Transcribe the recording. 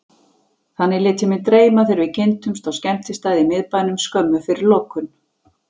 Þannig lét ég mig dreyma þegar við kynntumst á skemmtistað í miðbænum, skömmu fyrir lokun.